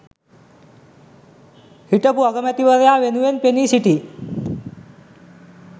හිටපු අගමැතිවරයා වෙනුවෙන් පෙනී සිටි